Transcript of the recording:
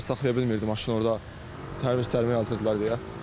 Sözlər saxlaya bilmirdi maşın orda, tərvis cərimə yazırdılar deyə.